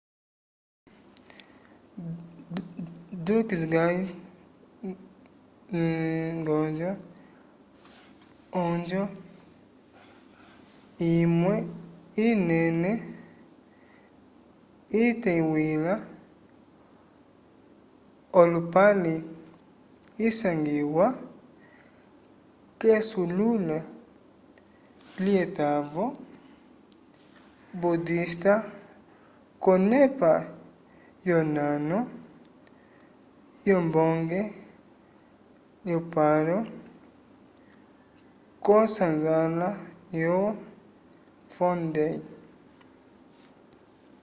drukgyal dzong onjo imwe inene iteywila olupale isangiwa k’esululo lyetavo budista k’onepa yonano yombonge lyo paro k’osanzala yo phondey